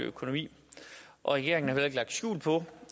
økonomi og regeringen har jo heller ikke lagt skjul på